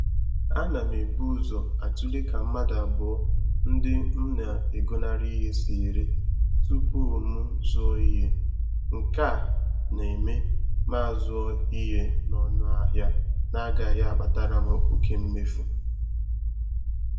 Ana m ebu ụzọ atụle ka mmadụ abụọ ndị m na-egonara ihe si ere tupu m zụọ ihe. Nke a na-eme ma azụọ ihe n'ọnụ ahịa na agaghị akpatara m oke mmefu